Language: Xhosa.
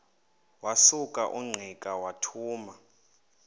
wasuka ungqika wathuma